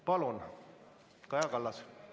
Palun, Kaja Kallas!